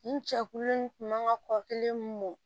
Nin jɛkulu in kun mankan kɔkili mɔ